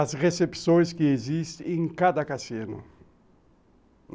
As recepções que existem em cada cassino.